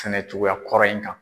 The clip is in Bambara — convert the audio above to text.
Sɛnɛ cogoya kɔrɔ in kan.